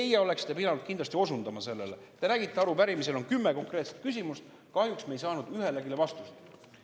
Ja teie oleksite pidanud kindlasti osundama sellele, te nägite, et arupärimises on kümme konkreetset küsimust, aga kahjuks me ei saanud ühelegi vastust.